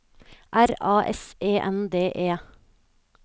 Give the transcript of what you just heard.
R A S E N D E